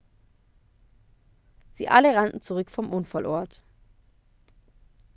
sie alle rannten zurück vom unfallort